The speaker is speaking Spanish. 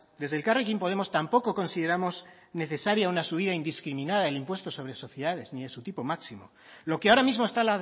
desde elkarrekin podemos tampoco consideramos necesario una subida indiscriminada del impuesto sobre sociedades ni de su tipo máximo lo que ahora mismo está